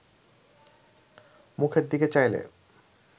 মুখের দিকে চাইলে